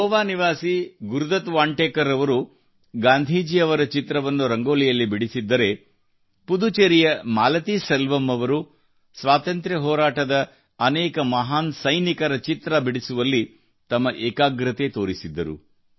ಗೋವಾ ನಿವಾಸಿ ಗುರುದತ್ ವಾಂಟೇಕರ್ ಅವರು ಗಾಂಧೀಜಿಯವರ ಚಿತ್ರವನ್ನು ರಂಗೋಲಿಯಲ್ಲಿ ಬಿಡಿಸಿದ್ದರೆ ಪುದುಚೆರಿಯ ಮಾಲತಿ ಸೆಲ್ವಮ್ ಅವರು ಸ್ವಾತಂತ್ರ್ಯ ಹೋರಾಟದ ಅನೇಕ ಮಹಾನ್ ಸೈನಿಕರ ಚಿತ್ರ ಬಿಡಿಸುವಲ್ಲಿ ತಮ್ಮ ಏಕಾಗ್ರತೆ ತೋರಿಸಿದ್ದರು